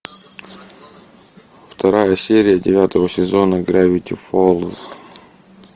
вторая серия девятого сезона гравити фолз